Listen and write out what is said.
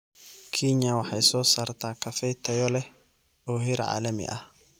Kenya waxay soo saartaa kafee tayo leh oo heer caalami ah.